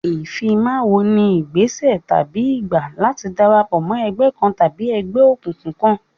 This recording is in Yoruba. Ìfimáwo ni ìgbésẹ̀ tàbí ìgbà láti darapọ̀ mọ́ ẹgbẹ́ kan tàbí ẹgbẹ́ òkùnkùn kan.